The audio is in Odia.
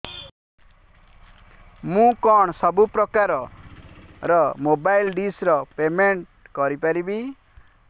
ମୁ କଣ ସବୁ ପ୍ରକାର ର ମୋବାଇଲ୍ ଡିସ୍ ର ପେମେଣ୍ଟ କରି ପାରିବି